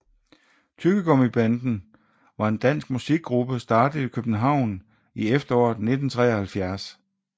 Tyggegummibanden var en dansk musikgruppe startet i København i efteråret 1973